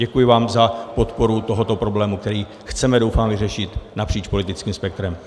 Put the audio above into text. Děkuji vám za podporu tohoto problému, který chceme, doufám, vyřešit napříč politickým spektrem.